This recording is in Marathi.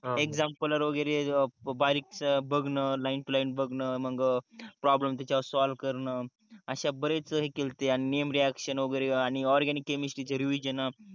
एक्साम्पल वगेरे बारीकस बघन लाईन टू लाईन बघन मग प्रॉब्लेम त्याचा वर सॉल्व्ह करण अश्या बरेच हे केलते आणि नेम रिअक्शन वगेरे आणि ऑरगॅनिक केमिस्त्री चे रिव्हिशन